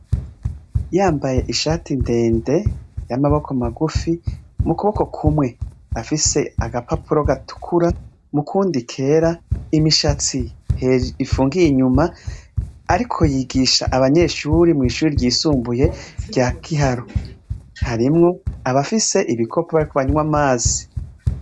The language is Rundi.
Yambaye ishati ndende y'amaboko magufi, mukuboko kumwe afise agapapuro gatukura mukundi kera, imishatsi ifungiye inyuma ariko yigisha abanyeshure mw'ishure ry'isumbuye rya Giharo, harimwo abafise ibikopo bariko banywa amazi.